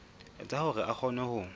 etsa hore a kgone ho